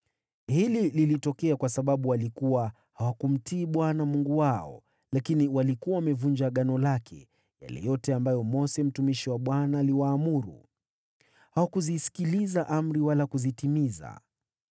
Hili lilitokea kwa sababu hawakumtii Bwana Mungu wao, lakini walikuwa wamevunja agano lake, yale yote ambayo Mose mtumishi wa Bwana aliwaamuru. Hawakuzisikiliza amri wala kuzitimiza.